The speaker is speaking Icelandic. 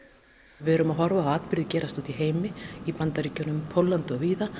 við erum að horfa á atburði gerast úti í heimi í Bandaríkjunum Póllandi og víðar